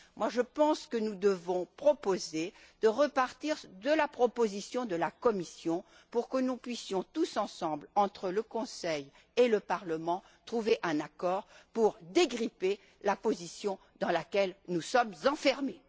Je pense que nous devons proposer de repartir de la proposition de la Commission pour que nous puissions, tous ensemble, entre le Conseil et le Parlement trouver un accord pour dégripper la position dans laquelle nous sommes enfermés.